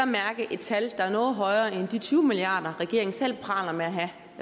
mærke et tal der er noget højere end de tyve milliard kr regeringen selv praler med at have